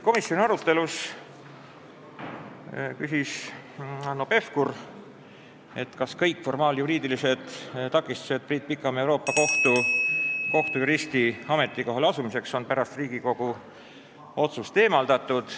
Komisjoni arutelu käigus küsis Hanno Pevkur, kas kõik formaaljuriidilised takistused Priit Pikamäe Euroopa Kohtu kohtujuristi ametikohale asumiseks on pärast Riigikogu otsust eemaldatud.